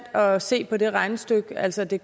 at se på det regnestykke altså at det